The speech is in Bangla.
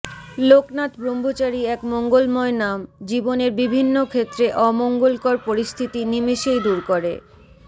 লোকনাথ ব্রহ্মচারী এক মঙ্গলময় নাম জীবনের বিভিন্ন ক্ষেত্রে অমঙ্গলকর পরস্থিতি নিমেষেই দূর করে